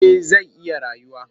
Eh zai iya rayuwa